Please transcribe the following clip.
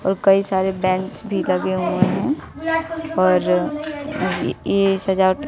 और कई सारे बेंच भी लगे हुए हैं और ये सजावट--